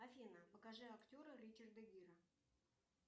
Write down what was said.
афина покажи актера ричарда гира